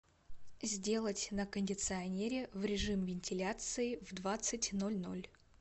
сделать на кондиционере в режим вентиляции в двадцать ноль ноль